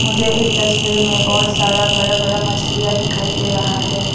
मुझे इस तस्वीर में बहुत सारा बड़ा बड़ा मछलियां दिखाई दे रहा है।